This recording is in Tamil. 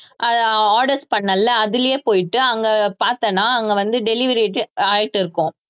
அஹ் அஹ் orders பண்ணல்ல அதிலயே போயிட்டு அங்க பாத்தேன்னா அங்க வந்து delivery ஆயிட்டு இருக்கும்